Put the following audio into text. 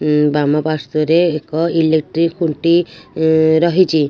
ଉ ବାମ ପାର୍ଶ୍ୱରେ ଏକ ଇଲେକ୍ଟ୍ରି ଖୁଣ୍ଟି ଉ ରହିଛି।